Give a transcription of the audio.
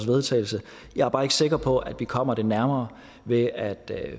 vedtagelse jeg er bare ikke sikker på at vi kommer det nærmere ved at